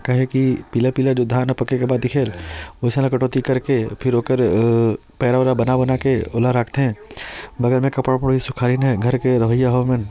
काहे की पीला-पीला जो धान हे की पके के बाद दिखेल इहि साल ल कटौती करके फिर ओकर पैरा उईरा बना-बना के ओला रख थे बगल मे कपड़ा उपड़ा भी सुखाइन हे घर के रहाइयया हे मन--